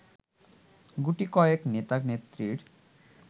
গুটিকয়েক নেতা-নেত্রীর